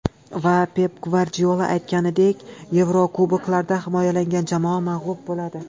Va, Pep Gvardiola aytganidek, Yevrokuboklarda himoyalangan jamoa mag‘lub bo‘ladi.